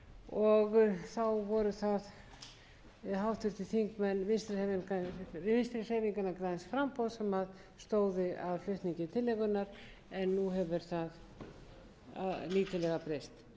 og þá voru það háttvirtir þingmenn vinstri hreyfingarinnar græns framboðs sem stóðu að flutningi tillögunnar en nú hefur það lítillega breyst